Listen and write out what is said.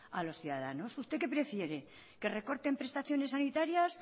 a los ciudadanos usted qué prefiere que recorten prestaciones sanitarias